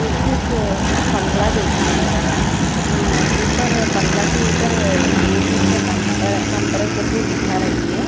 ये तो एक बंगला जैसी है यहां अं ऊपर बंगला के ऊपर ए_सी का कंप कंप्रेसर भी दिख रही है।